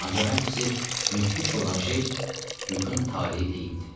Ancaq ən pisi müthiş olan şey Lükun taleyi deyildi.